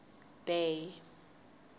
bay